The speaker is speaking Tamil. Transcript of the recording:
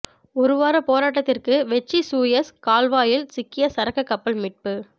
ஒருவார போராட்டத்துக்கு வெற்றி சூயஸ் கால்வாயில் சிக்கிய சரக்கு கப்பல் மீட்பு